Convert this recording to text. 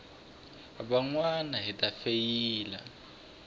van wana hi ta feyila